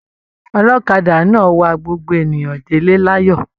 Ọlọ́kadà náà wàá gbogbo èèyàn de'le l'ayọ.